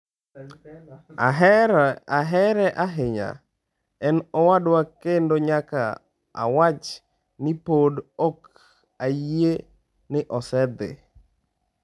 Ahere ahinya, en owadwa kendo nyaka awach ni pod ok ayie ni osedhi."